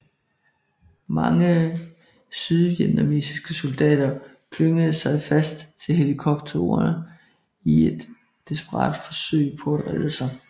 Mange sydvietnamesiske soldater klyngede sig fast til helikopterne i et desperat forsøg på at redde sig